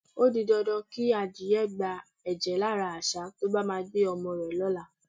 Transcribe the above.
O di dandan kí adìye̩ gba è̩jè̩ lára às̩á tí ó bá máa gbé o̩mo̩ rè̩ ló̩la.